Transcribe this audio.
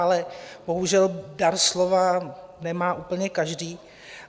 Ale bohužel dar slova nemá úplně každý.